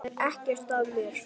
Það er ekkert að mér!